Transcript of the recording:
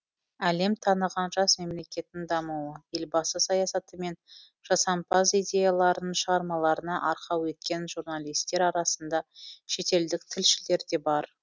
әлем таныған жас мемлекеттің дамуы елбасы саясаты мен жасампаз идеяларын шығармаларына арқау еткен журналистер арасында шетелдік тілшілер де бар